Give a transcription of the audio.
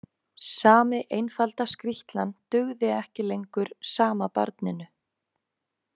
Sami einfalda skrýtlan dugði ekki lengur sama barninu.